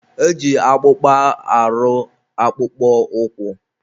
e ji akpụkpa arụ akpụkpọ ụkwụ.